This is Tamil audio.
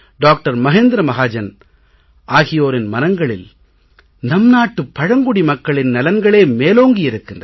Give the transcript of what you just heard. மஹேந்த்ர மஹாஜன் ஆகியோரின் மனங்களில் நம் நாட்டு பழங்குடி மக்களின் நலன்களே மேலோங்கி இருக்கிறது